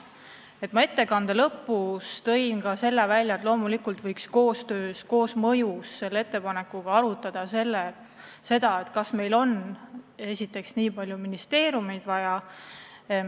Ma oma ettekande lõpus tõin ka selle välja, et loomulikult võiks seoses meie ettepanekuga arutada, kas meil on nii palju ministeeriume vaja.